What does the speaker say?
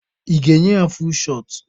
I ga-enye ya fuul shọt?